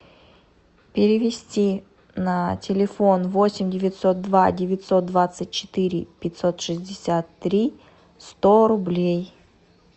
перевести на телефон восемь девятьсот два девятьсот двадцать четыре пятьсот шестьдесят три сто рублей